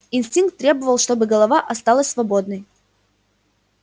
инстинкт требовал чтобы голова оставалась свободной